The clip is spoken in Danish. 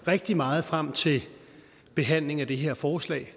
rigtig meget frem til behandlingen af det her forslag